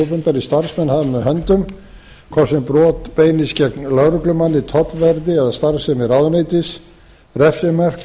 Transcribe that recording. opinberir starfsmenn hafa með höndum hvort sem brot beinist gegn lögreglumanni tollverði eða starfsemi ráðuneytis refsimörk